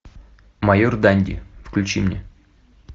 майор данди включи мне